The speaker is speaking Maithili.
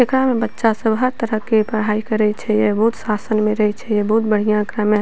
एकरा में बच्चा सब हर तरह के पढ़ाई करई छई अ बहुत शासन में रहई छई अ बहुत बढ़िया एकरा में --